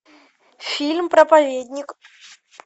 фильм проповедник